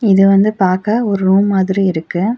இது வந்து பாக்க ஒரு ரூம் மாதிரி இருக்கு.